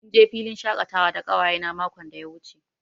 Mun je filin shakatawa da ƙawayena makon da ya wuce.